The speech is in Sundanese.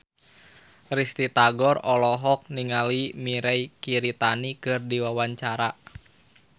Risty Tagor olohok ningali Mirei Kiritani keur diwawancara